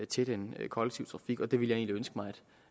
til den kollektive trafik og jeg ville egentlig ønske